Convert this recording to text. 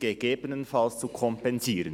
«sind gegebenenfalls zu kompensieren».